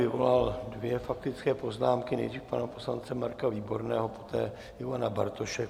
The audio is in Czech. Vyvolal dvě faktické poznámky, nejdřív pana poslance Marka Výborného, poté Ivana Bartoše.